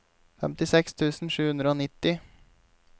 femtiseks tusen sju hundre og nitti